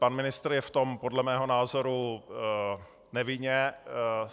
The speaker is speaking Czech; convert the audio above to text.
Pan ministr je v tom podle mého názoru nevinně.